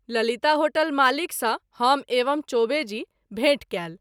Lalita hotel मालिक सँ हम एवं चौबे जी भेंट कएल।